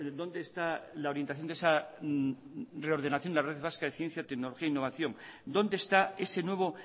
dónde está la orientación de esa reordenación de la red vasca de ciencia y tecnología e innovación dónde esta ese nuevo